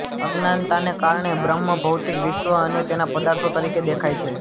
અજ્ઞાનતાને કારણે બ્રહ્મ ભૌતિક વિશ્વ અને તેના પદાર્થો તરીકે દેખાય છે